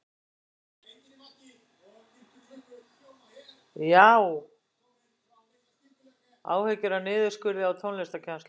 Áhyggjur af niðurskurði á tónlistarkennslu